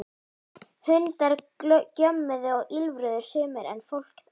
Hundar gjömmuðu og ýlfruðu sumir en fólk þagði.